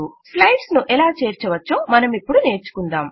slide ను ఎలా చేర్చవచ్చో మనమిపుడు నేర్చుకుందాం